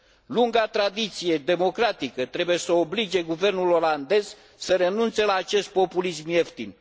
Lunga tradiție democratică trebuie să oblige guvernul olandez să renunțe la acest populism ieftin.